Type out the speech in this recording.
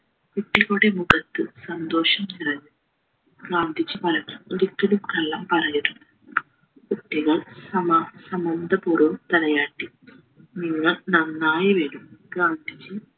കുട്ടികളുടെ മുഖത്ത് സന്തോഷം നിറഞ്ഞു ഗാന്ധിജി പറഞ്ഞു ഒരിക്കലും കള്ളം പറയരുത് കുട്ടികൾ സമ സമ്മതപൂർവം തലയാട്ടി നിങ്ങൾ നന്നായി വരും ഗാന്ധിജി